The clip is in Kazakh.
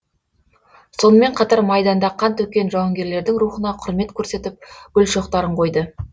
сонымен қатар майданда қан төккен жауынгерлердің рухына құрмет көрсетіп гүл шоқтарын қойды